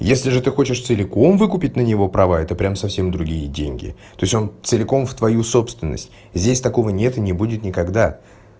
если же ты хочешь целиком выкупит на него право это прямо совсем другие деньги то есть он целиком в твою собственность здесь такого нет и не будет никогда